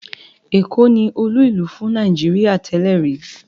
Èkó ni olú-ìlú fún Nàìjíríà tẹ́lẹ̀ rí.